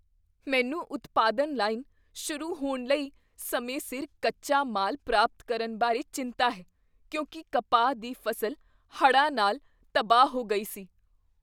ਮੈਨੂੰ ਉਤਪਾਦਨ ਲਾਈਨ ਸ਼ੁਰੂ ਹੋਣ ਲਈ ਸਮੇਂ ਸਿਰ ਕੱਚਾ ਮਾਲ ਪ੍ਰਾਪਤ ਕਰਨ ਬਾਰੇ ਚਿੰਤਾ ਹੈ, ਕਿਉਂਕਿ ਕਪਾਹ ਦੀ ਫ਼ਸਲ ਹੜ੍ਹਾਂ ਨਾਲ ਤਬਾਹ ਹੋ ਗਈ ਸੀ।